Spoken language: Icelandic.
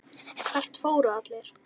Hvert fóru allir?